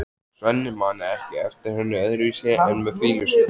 Svenni man ekki eftir henni öðruvísi en með fýlusvip.